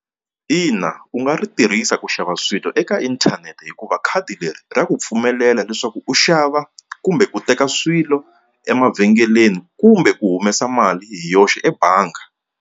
Ina u nga ri tirhisa ku xava swilo eka inthanete hikuva khadi leri ra ku pfumelela leswaku u xava kumbe ku teka swilo emavhengeleni kumbe ku humesa mali hi yoxe ebangi.